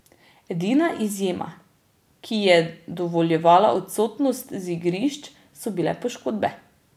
Edina izjema, ki ji je dovoljevala odsotnost z igrišč, so bile poškodbe.